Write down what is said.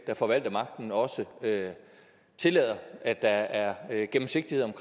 der forvalter magten også tillader at der er gennemsigtighed